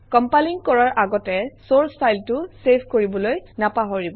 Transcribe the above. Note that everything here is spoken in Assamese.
কমপাইলিং কৰাৰ আগতে চৰ্চ ফাইলটো চেভ কৰিবলৈ নাপাহৰিব